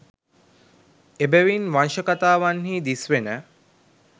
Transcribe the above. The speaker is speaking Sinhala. එබැවින් වංශකථාවන්හි දිස්වෙන